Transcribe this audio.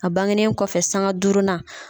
A bangenen kɔfɛ sanga duurunan